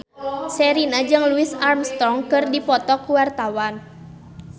Sherina jeung Louis Armstrong keur dipoto ku wartawan